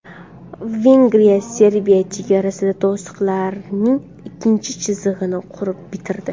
Vengriya Serbiya chegarasida to‘siqlarning ikkinchi chizig‘ini qurib bitirdi.